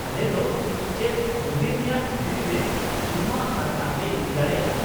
-ᱟᱞᱮ ᱫᱚ ᱪᱮᱫ ᱢᱚᱱᱫᱤᱨ ᱨᱮᱭᱟᱜ ᱵᱷᱤᱛᱨᱤ ᱨᱮ ᱡᱚᱢᱟᱜ ᱟᱨ ᱫᱟᱜ ᱞᱮ ᱤᱫᱤ ᱫᱟᱲᱮᱭᱟᱜᱼᱟ ?